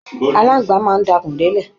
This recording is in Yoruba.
Aláǹgbá máa ń dakùn délẹ̀